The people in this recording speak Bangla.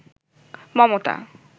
মমতা